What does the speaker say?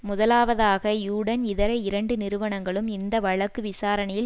முதலாவதாக யுடன் இதர இரண்டு நிறுவனங்களும் இந்த வழக்கு விசாரணையில்